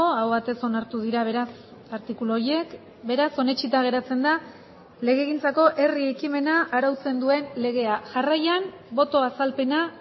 aho batez onartu dira beraz artikulu horiek beraz onetsita geratzen da legegintzako herri ekimena arautzen duen legea jarraian boto azalpena